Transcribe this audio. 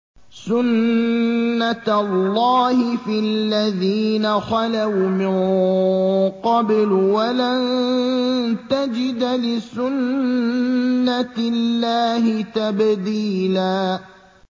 سُنَّةَ اللَّهِ فِي الَّذِينَ خَلَوْا مِن قَبْلُ ۖ وَلَن تَجِدَ لِسُنَّةِ اللَّهِ تَبْدِيلًا